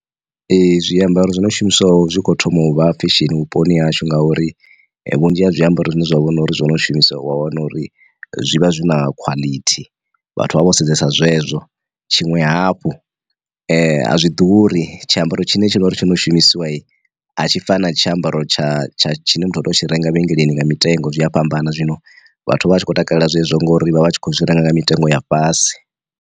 Ee zwiambaro zwi no shumiswa zwi kho thoma uvha fesheni vhuponi hashu ngauri, vhunzhi ha zwiambaro zwine zwa vhona uri zwino shumiswa wa wana uri zwi vha zwi na khwalithi vhathu vho sedzesa zwezwo. Tshiṅwe hafhu a zwi ḓuri tshiambaro tshine tshi na uri tsho no shumisiwa a tshi fana tshiambaro tsha tsha tshine muthu u tea u tshi renga mavhengeleni nga mitengo zwi a fhambana, zwino vhathu vha tshi khou takalela zwezwo ngori vha vha tshi khou zwi renga nga mitengo ya fhasi.